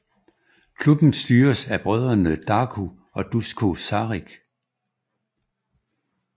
Klubben styres af brødrene Darko og Dusko Saric